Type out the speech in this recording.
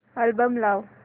album लाव